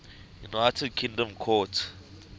united kingdom court